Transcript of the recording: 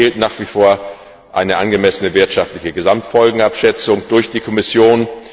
Es fehlt nach wie vor eine angemessene wirtschaftliche Gesamtfolgenabschätzung durch die Kommission.